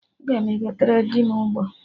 Aga m egotere dị m Ụgbọ